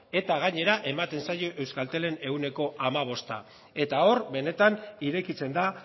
eta gainera ematen zaio euskaltelen ehuneko hamabosta eta hor benetan irekitzen da